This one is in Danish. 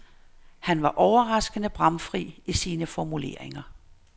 Han var overraskende bramfri i sine formuleringer.